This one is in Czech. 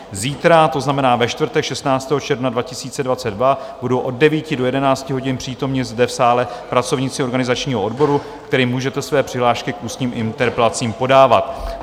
Zítra, to znamená ve čtvrtek 16. června 2022, budou od 9 do 11 hodin přítomni zde v sále pracovníci organizačního odboru, kterým můžete své přihlášky k ústním interpelacím podávat.